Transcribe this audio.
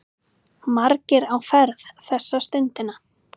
Margir á ferð þessa stundina.